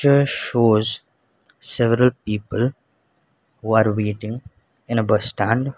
picture shows several people who are waiting in a bus stand.